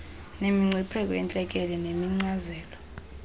nemingcipheko yentlekele neenkcazelo